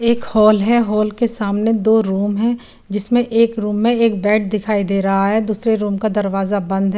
एक हॉल है हॉल के सामने दो रूम है जिसमे एक रूम एक बेड दिखाई दे रहा है दूसरे रूम का दरवाजा बंद है।